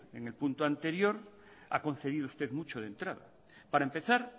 en el punto anterior ha concedido usted mucho de entrada para empezar